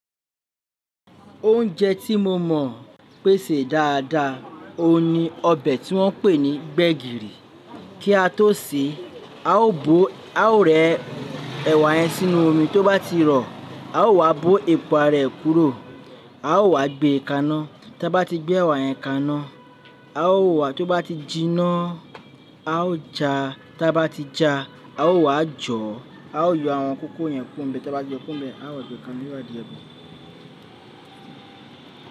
Oúnjẹ tí mo mọ̀ pèsè dáadáa, òun ni ọbẹ̀ tí wọ́n ń pè ní gbegiri. Kí a tó sèé, a ó rẹ ẹ̀wà yẹn sínú omi, tó bá ti rọ, a ó wá bó epo ara rẹ̀ kúrò. A ó wá gbe e kaná, tí a bá ti gbé ẹ̀wà yẹn kaná, a ó wàá, tó bá ti jiná, a ó ja, tí a bá ti ja, a ó wá jó. A ó yọ àwọn kókó yẹn kúro ibẹ̀, tí a bá ti yo kúrò nbẹ̀, a ó wa gbe kaná yí wá di ọbẹ̀